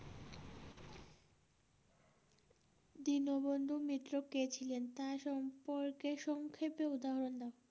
দীনবন্ধু মিত্র কে ছিলেন তা সম্পর্কে সংক্ষেপে উদাহরণ দাও।